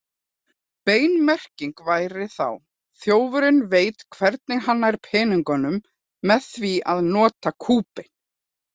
Bein merking væri þá: Þjófurinn veit hvernig hann nær peningunum með því að nota kúbein.